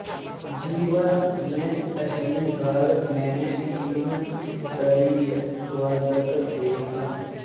जीवन में पहली बार मैंने तीन स्तरीय स्वागत देखा